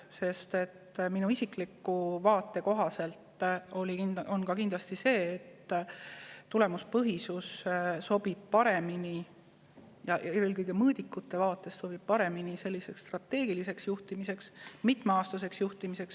Sest minu isikliku vaate kohaselt ka kindlasti tulemuspõhisus sobib paremini – eelkõige mõõdikute vaatest – strateegiliseks juhtimiseks, mitmeaastaseks juhtimiseks.